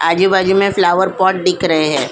आजू-बाजू में flower pot दिख रहे हैं.